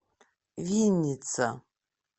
винница